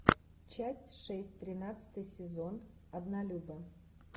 часть шесть тринадцатый сезон однолюбы